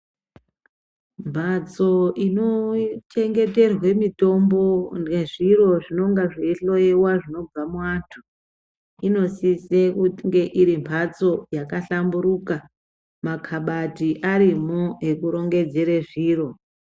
Mbatso inochengeterwe mitombo nezviro zvinonga zveihloyiwa zvinobva muantu, inosise kunge iri mhatso yakahlamburuka, makabati arimo ekurongedzere zviro.